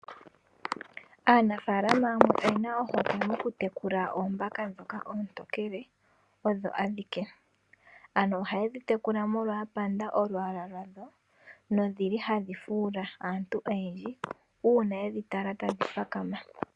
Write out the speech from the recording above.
Aanafaalama yamwe oyena ohokwe moku tekula oombaka ndhoka oontokele odho adhike. Ano ohaye dhi tekula molwa apanda olwaala lwadho nodhili hadhi fuula aantu oyendji, uuna yedhi tala tadhi papama.